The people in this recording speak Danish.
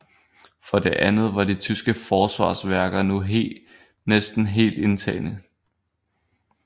For det andet var de tyske forsvarsværker nu næsten helt indtagne